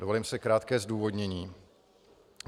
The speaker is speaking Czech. Dovolím si krátké zdůvodnění.